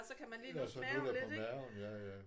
Ja så nuller på maven ja ja